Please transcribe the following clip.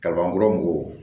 Kaban kuraw ko